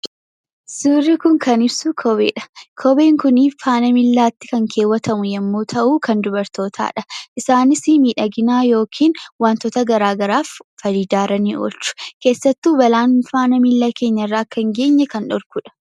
Suurri kun kan ibsu kopheedha. Kopheen kun faana miilaatti kan kaawwatamu yommuu ta'u, kan dubartootaadha. Isaanis miidhagina yookiin wantoota garaagaraatiif fayidaarra oolchu. Keessattuu balaan faana keenyarra akka hin geenye kan dhorkudha.